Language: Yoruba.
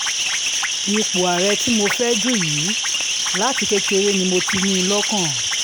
ipò àárẹ̀ tí mo fẹ́ẹ́ dù yìí láti kékeré ni mo ti ní in lọ́kàn